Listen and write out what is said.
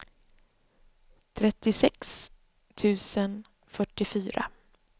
trettiosex tusen fyrtiofyra